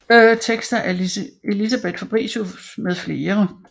Tekster af Elisabeth Fabritius med flere